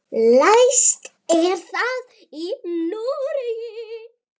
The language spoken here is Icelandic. Lægst er það í Noregi.